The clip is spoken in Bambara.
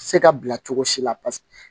Se ka bila cogo si la paseke